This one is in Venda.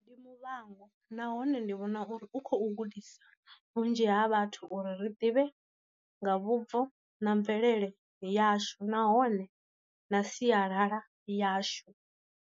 Ndi muvhango nahone ndi vhona uri u kho gudisa vhunzhi ha vhathu uri ri ḓivhe nga vhubvo na mvelele yashu nahone na sialala yashu.